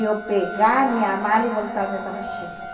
Eu pegar minha mala e voltar-me para Chile.